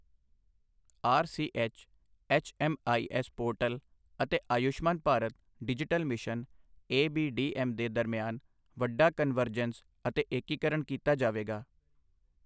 RCH, HMIS portal ਅਤੇ Ayushman Bharat digital mission ABDM ਦੇ ਦਰਮਿਆਨ ਵੱਡਾ ਕਨਵਰਜੈਂਸ ਅਤੇ ਏਕੀਕਰਣ ਕੀਤਾ ਜਾਵੇਗਾ